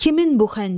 Kimin bu xəncər?